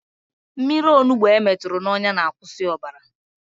Mmiri onugbo emeturu n'ọnya na-akwụsị ọbara